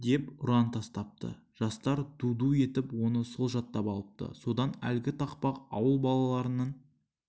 деп ұран тастапты жастар ду-ду етіп оны сол жаттап алыпты содан әлгі тақпақ ауыл балаларының